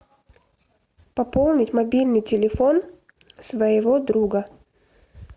пополнить мобильный телефон своего друга